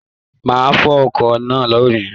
Mà á fọ ọkọ náà lónì.